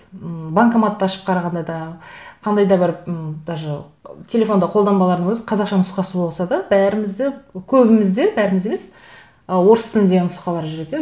м банкоматты ашып қарағанда да қандай да бір м даже телефонда қолданбалардың өзі қазақша нұсқасы болса да бәріміз де көбіміз де бәріміз емес ы орыс тілінде нұсқалар жүреді иә